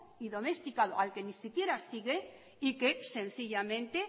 y domesticado al que ni siquiera sigue y que sencillamente